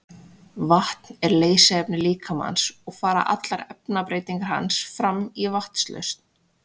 Vatn er leysiefni líkamans og fara allar efnabreytingar hans fram í vatnslausn.